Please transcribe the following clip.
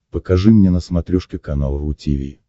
покажи мне на смотрешке канал ру ти ви